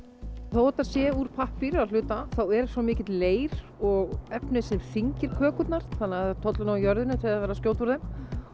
þó þetta sé úr pappír að hluta þá er svo mikill leir og efni sem þyngir kökurnar þannig það tollir nú á jörðinni þegar verið er að skjóta úr þeim